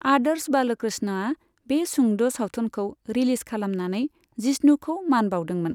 आदर्श बालकृष्णआ बे सुंद सावथुनखौ रिलिज खालामनानै जिष्णुखौ मान बाउदोंमोन।